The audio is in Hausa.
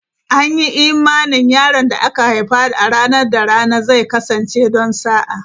An yi imanin yaron da aka haifa a ranar da rana zai kasance don sa'a.